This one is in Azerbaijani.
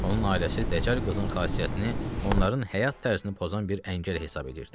Onun ailəsi dəcəl qızın xasiyyətini, onların həyat tərzini pozan bir əngəl hesab edirdi.